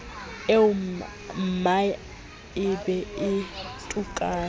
eommae e be e tukang